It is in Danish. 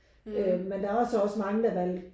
Øh men der er så også mange der valgte